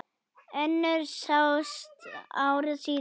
Önnur sást ári síðar.